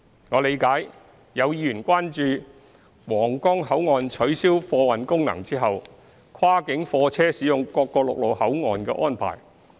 我理解有議員關注皇崗口岸取消貨運功能後，跨境貨車使用各個陸路口岸的安排。